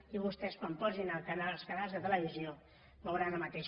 i vostès quan posin els canals de televisió veuran el mateix